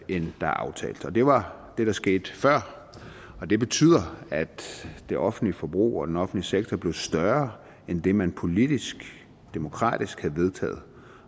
end der er aftalt og det var det der skete før og det betyder at det offentlige forbrug og den offentlige sektor blev større end det man politisk demokratisk havde vedtaget